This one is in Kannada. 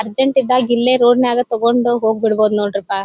ಅರ್ಜೆಂಟ್ ಇದ್ದಾಗೆ ಇಲ್ಲೇ ರೋಡ್ ನಾಗೇ ತಗೊಂಡು ಹೋಗ್ಬಿಡಬಹುದು ನೊಡ್ರಪಾ.